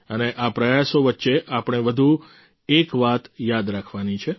અને આ પ્રયાસો વચ્ચે આપણે વધુ એકવાત યાદ રાખવાની છે